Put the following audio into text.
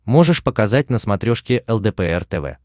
можешь показать на смотрешке лдпр тв